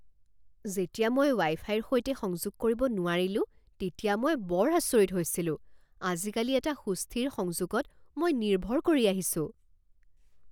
যেতিয়া মই ৱাই ফাইৰ সৈতে সংযোগ কৰিব নোৱাৰিলো তেতিয়া মই বৰ আচৰিত হৈছিলো। আজিকালি এটা সুস্থিৰ সংযোগত মই নিৰ্ভৰ কৰি আহিছোঁ।